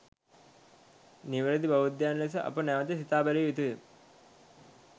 නිවැරැදි බෞද්ධයන් ලෙස අප නැවත සිතා බැලිය යුතුය.